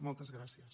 moltes gràcies